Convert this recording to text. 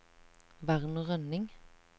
Werner Rønning